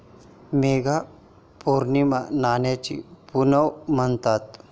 माघ पौर्णिमा 'नव्याची पुनव' म्हणतात.